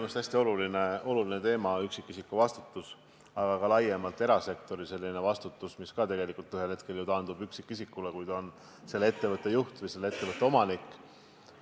Minu meelest on see hästi oluline teema – üksikisiku vastutus, aga ka laiemalt erasektori vastutus, mis tegelikult samuti ju ühel hetkel taandub üksikisikule, kes on ettevõtte juht või ettevõtte omanik.